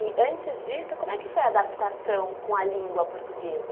E antes disso, como é que foi a adaptação com a língua portuguesa?